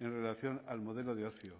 en relación al modelo de ocio